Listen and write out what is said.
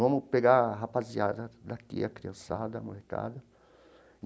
Vamos pegar a rapaziada daqui, a criançada, a molecada.